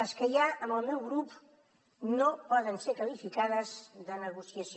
les que hi ha amb el meu grup no poden ser qualificades de negociació